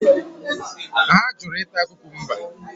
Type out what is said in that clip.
Ha jụrụ ịta kukumba.